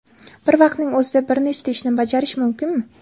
Bir vaqtning o‘zida bir nechta ishni bajarish mumkinmi?